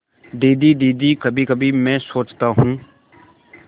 दीदी दीदी कभीकभी मैं सोचता हूँ